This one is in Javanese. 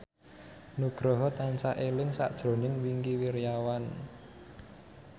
Nugroho tansah eling sakjroning Wingky Wiryawan